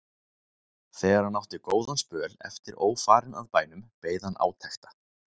Þegar hann átti góðan spöl eftir ófarinn að bænum beið hann átekta.